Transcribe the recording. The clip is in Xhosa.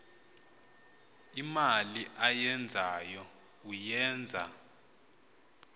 imali ayenzayo uyenza